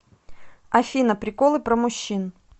афина приколы про мужчин